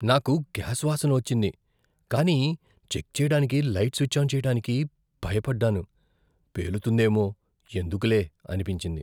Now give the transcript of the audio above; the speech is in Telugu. నాకు గ్యాస్ వాసన వచ్చింది కానీ చెక్ చేయడానికి లైట్ స్విచ్ ఆన్ చేయటానికి భయపడ్డాను. పేలుతుందేమో, ఎందుకులే అనిపించింది.